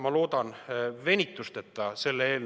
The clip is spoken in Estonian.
Ma loodan selle eelnõu venitusteta menetlemist.